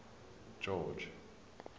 george